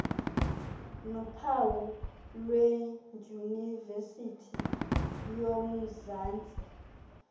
nophawu lwedyunivesithi yomzantsi